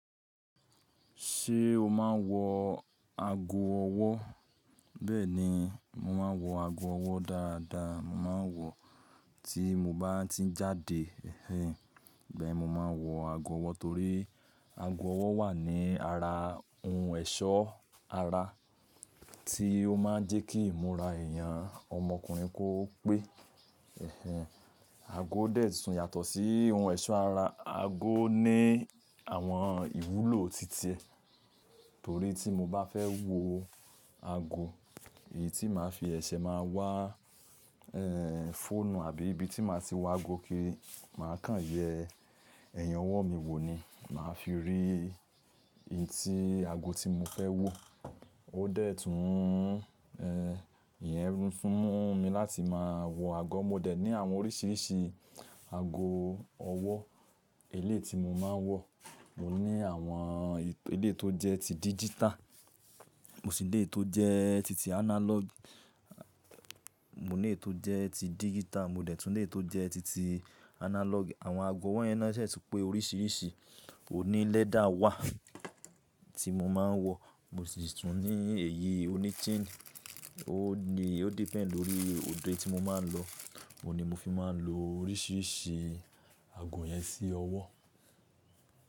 Ṣé o máa ń wọ ago ọwọ́? Bẹ́ẹ̀ni, mo máa ń wọ ago ọwọ́ dáadáa. Mo máa ń wọ tí mo bá ti ń jáde. Ẹ̀hẹ́n. Ibe ni mo máa ń wọ ago ọwọ́ torí ago ọwọ́ wà ní ara ohun ẹ̀ṣọ́ ara tí ó máa ń jẹ́ kí ìmúra èèyàn ọmọkùnrin kó pé. Ẹ̀hẹ́n. Ago dẹ̀ tún yàtọ̀ sí ohun ẹ̀ṣọ́ ara. Ago ní àwọn ìwúlò ti ti e. Torí tí mo bá fẹ́ wo ago, èyí tí màá fi sẹsẹ̀ máa wá, ẹ́ẹ́ fọ́nu àbí ibi tí màá ti wọ ago kíri màá kàn yẹ́. Ẹ̀yin ọwọ́ mi wo ni? Màá fi rí in tí ago tí mo fẹ́ wọ. Ó dẹ̀ tún, ẹ́ẹ́ ìyẹn fún mú mi láti máa wọ ago. Mo dẹ̀ ní àwọn oríṣiríṣi ago ọwọ́. Eléyiti mo máa ń wọ, mo ní àwọn elééyi tó jẹ́ ti digital, mo sì ní èyí tó jẹ́ titi analog. Mo ní èyí tó jẹ́ ti dígítàl, mo dẹ̀ tún ní èyí tó jẹ́ titi analog. Àwọn ago owọ́ yẹn na ṣè tún pé oríṣiríṣi oní leather wà tí mo máa ń wọ. Mo sì tún ní èyí oní chain. Ó ni, ó depend lórí òdo eni tí mo máa ń lọ. Mo ni mo fi máa ń lo oríṣiríṣi ago yẹn sí ọwọ́.